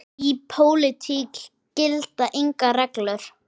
Í pólitík gilda engar reglur.